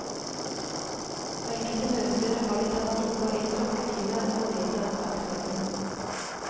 På enkelte møter har det tatt innpå en klokketime å få vedtatt dagsorden.